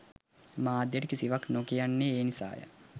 මාධ්‍යයට කිසිවක් නොකියන්නේ ඒ නිසාය